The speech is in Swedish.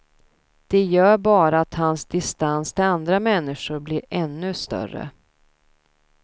Det gör bara att hans distans till andra människor blir ännu större.